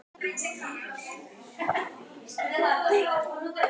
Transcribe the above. Einn vitundarvottur á hvora hlið.